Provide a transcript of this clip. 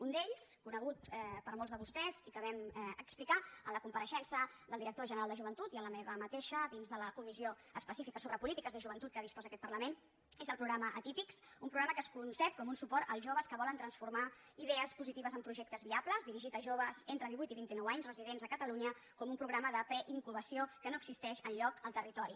un d’ells conegut per molts de vostès i que vam explicar en la compareixença del director general de joventut i en la meva mateixa dins de la comissió específica sobre polítiques de joventut de què disposa aquest parlament és el programa atípics un programa que es concep com un suport als joves que volen transformar idees positives en projectes viables dirigit a joves entre divuit i vint i nou anys residents a catalunya com un programa de preincubació que no existeix enlloc al territori